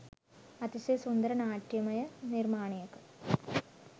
අතිශය සුන්දර නාට්‍යමය නිර්මාණයක